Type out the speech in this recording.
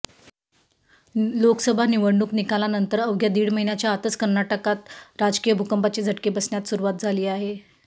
लोकसभा निवडणूक निकालानंतर अवघ्या दीड महिन्याच्या आतच कर्नाटकात राजकीय भूकंपाचे झटके बसण्यास सुरुवात झाली आहे